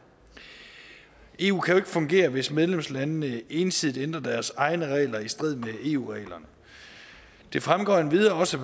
eu kan jo fungere hvis medlemslandene ensidigt ændrer deres egne regler i strid med eu reglerne det fremgår endvidere også